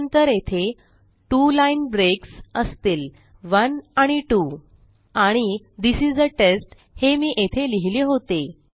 त्यानंतर येथे 2 line breaks असतील 1 आणि 2 आणि थिस इस आ टेस्ट हे मी येथे लिहिले होते